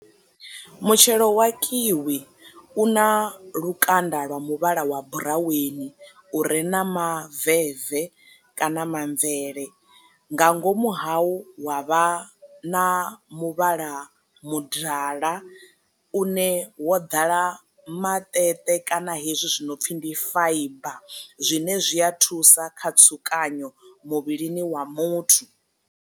Mutshelo wa kiwi u na lukanda lwa muvhala wa buraweni u re na ma veve kana mamvele nga ngomu hau wa vha na muvhala mudala u ne wo ḓala maṱeṱe kana hezwi zwi no pfi ndi faiba zwine zwi a thusa kha tsukanyo muvhilini wa muthu.